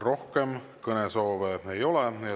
Rohkem kõnesoove ei ole.